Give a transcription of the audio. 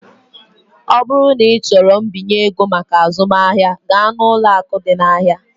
Ọ bụrụ na ịchọrọ mbinye ego maka azụmahịa, gaa na ụlọ akụ ndị ahịa.